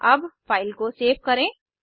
अब फाइल को सेव करें